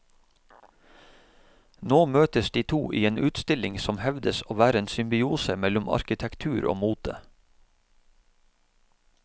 Nå møtes de to i en utstilling som hevdes å være en symbiose mellom arkitektur og mote.